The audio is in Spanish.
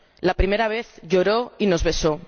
La primera vez lloró y nos besó.